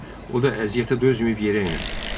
O da əziyyətə dözməyib yerə enər.